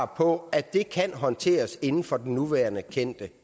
på at det kan håndteres inden for den nuværende kendte